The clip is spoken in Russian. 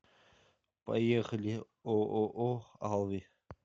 поехали ооо алви